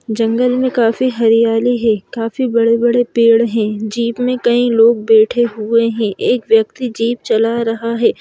जंगल में काफ़ी हरियाली है काफ़ी बड़े-बड़े पेड़ हैं जीप में कई लोग बैठे हुए हैं एक व्यक्ति जीप चला रहा है।